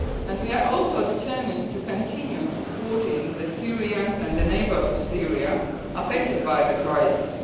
We are also determined to continue supporting the Syrians and the neighbours of Syria affected by the crisis.